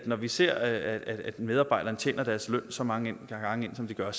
når vi ser at medarbejderne tjener deres løn så mange gange ind som de gør at